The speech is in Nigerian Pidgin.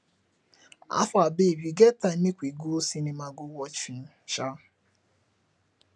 howfar babe you get time make we go cinema go watch film um